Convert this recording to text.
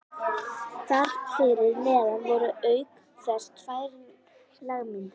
Þar fyrir neðan voru auk þess tvær lágmyndir